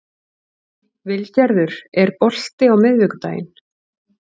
Vilgerður, er bolti á miðvikudaginn?